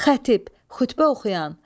Xətib, xütbə oxuyan.